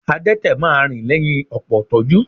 Adẹ́tẹ̀ máa rìn lẹ́yìn ọ̀pọ̀ ìtọ́jú